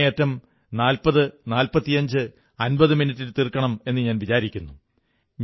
അങ്ങേയറ്റം 404550 മിനിട്ടിൽ തീർക്കണമെന്നു വിചാരിക്കുന്നു